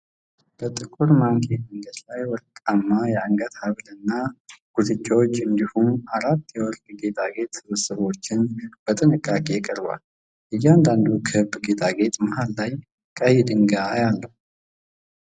በጥቁር ማኔኪን አንገት ላይ ወርቃማ የአንገት ሐብልና ጉትቻዎች እንዲሁም አራት የወርቅ ጌጣጌጥ ስብስቦች በጥንቃቄ ቀርበዋል። እያንዳንዱ ክብ ጌጣጌጥ መሃል ላይ ቀይ ድንጋይ አለው።